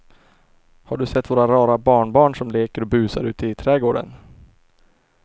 Har du sett våra rara barnbarn som leker och busar ute i grannträdgården!